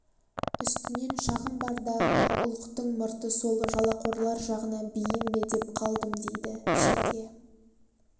үстінен шағым бар да ұлықтың мұрты сол жалақорлар жағына бейім бе деп қалдым дейді шәке